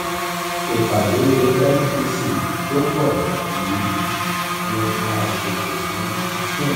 ìpàdé mpc tó ń bọ̀ yìí ni a ṣètò fún june 17.